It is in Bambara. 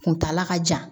Kuntala ka jan